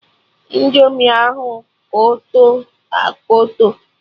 Indomi ahụ Kọtọ akọtọ